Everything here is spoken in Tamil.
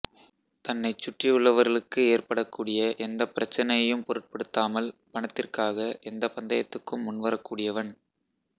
தன்னைச் சுற்றியுள்ளவர்களுக்கு ஏற்படக்கூடிய எந்த பிரச்சினையையும் பொருட்படுத்தாமல் பணத்திற்காக எந்த பந்தயத்துக்கும் முன்வரக்கூடியவன்